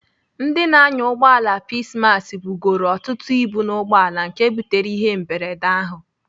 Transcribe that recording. Ndị na-anya ụgbọala Peacemass bugoro ọtụtụ ibu n'ugboala nke butere ihe mberede ahụ.